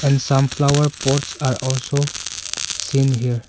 And some flower pots are also seen here.